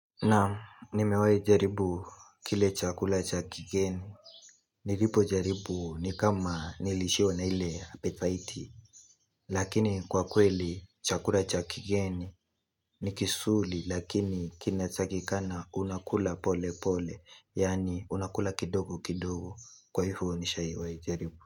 Naam nimewahi jaribu kile chakula cha kigeni Nilipo jaribu ni kama nilishiwa na ile apetaiti Lakini kwa kweli chakula chakigeni ni kizuri lakini kinatakikana unakula polepole yaani unakula kidogo kidogo kwa hivyo nishaiwahi jaribu.